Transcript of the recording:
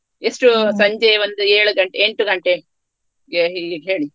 ಅಡ್ಡಿಲ್ಲ ಅಲ್ಲ ಎಷ್ಟು ಸಂಜೆ ಒಂದು ಏಳು ಎಂಟು ಗಂಟೆಗೆ ಇಡ್ಲಿಕೆ ಹೇಳಿ.